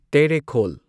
ꯇꯦꯔꯦꯈꯣꯜ